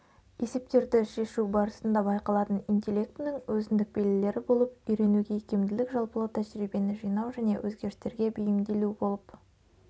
есептерді шешу барысында байқалатын интеллектінің өзіндік белгілері болып үйренуге икемділік жалпылау тәжірибені жинау және өзгерістерге бейімделу болып